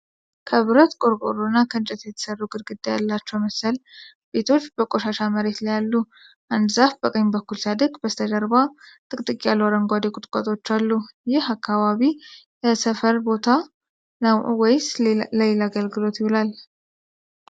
ከብረት ቆርቆሮ እና ከእንጨት የተሰሩ ግድግዳ ያላቸው መሰል ቤቶች በቆሻሻ መሬት ላይ አሉ። አንድ ዛፍ በቀኝ በኩል ሲያድግ፣ ከበስተጀርባ ጥቅጥቅ ያሉ አረንጓዴ ቁጥቋጦዎች አሉ። ይህ አካባቢ የሰፈራ ቦታ ነው ወይስ ለሌላ አገልግሎት ይውላል?